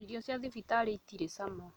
Irio cia thibitarĩ itirĩ cama